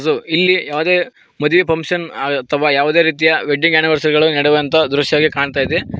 ಮತ್ತು ಇಲ್ಲಿ ಯಾವುದೇ ಮದುವೆ ಫಂಕ್ಷನ್ ಅಥವಾ ಯಾವುದೇ ರೀತಿಯ ವೆಡ್ಡಿಂಗ್ ಆನಿವರ್ಸರಿ ಗಳು ನಡೆಯುವಂತ ದೃಶ್ಯವಾಗಿ ಕಾಣ್ತಾಯಿದೆ.